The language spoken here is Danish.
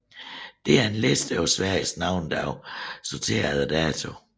Dette er en liste over Sveriges navnedage sorteret efter dato